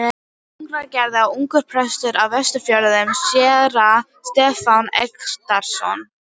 Hraungerði og ungur prestur á Vestfjörðum, séra Stefán Eggertsson.